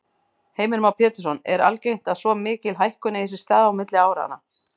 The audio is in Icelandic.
Heimir Már Pétursson: Er algengt að svo mikil hækkun eigi sér stað á milli áranna?